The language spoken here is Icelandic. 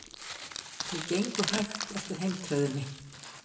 Þau gengu hægt eftir heimtröðinni.